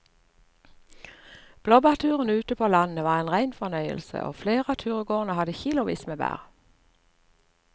Blåbærturen ute på landet var en rein fornøyelse og flere av turgåerene hadde kilosvis med bær.